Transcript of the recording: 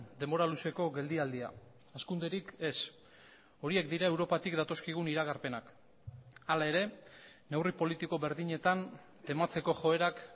denbora luzeko geldialdia hazkunderik ez horiek dira europatik datozkigun iragarpenak hala ere neurri politiko berdinetan tematzeko joerak